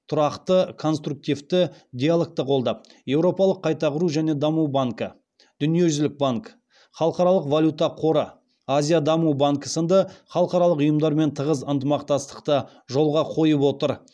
тұрақты конструктивті диалогты қолдап еуропалық қайта құру және даму банкі дүниежүзілік банк халықаралық валюта қоры азия даму банкі сынды халықаралық ұйымдармен тығыз ынтымақтастықты жолға қойып отыр